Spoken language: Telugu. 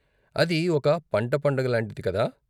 అది ఒక పంట పండుగ లాంటిది కాదా?